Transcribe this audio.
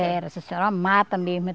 Era, era uma mata mesmo.